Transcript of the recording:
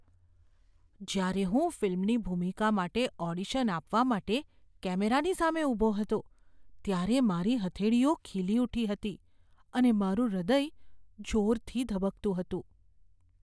જ્યારે હું ફિલ્મની ભૂમિકા માટે ઓડિશન આપવા માટે કેમેરાની સામે ઊભો હતો ત્યારે મારી હથેળીઓ ખીલી ઊઠી હતી અને મારું હૃદય જોરથી ધબકતું હતું.